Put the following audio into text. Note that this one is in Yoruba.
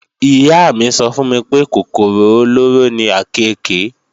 Ìyá mí sọ fún mi pé kòkòrò olóró ni àkééke